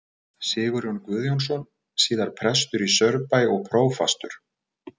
Sigurjón Guðjónsson, síðar prestur í Saurbæ og prófastur.